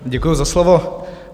Děkuji za slovo.